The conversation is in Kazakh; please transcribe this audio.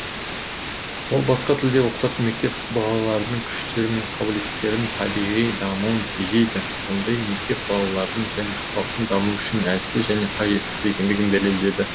ол басқа тілде оқытатын мектеп балалардың күштері мен қабілеттіктерінің табиғи дамуын тежейді ондай мектеп балалардың және халықтың дамуы үшін әлсіз және қажетсіз екендігін дәлелдеді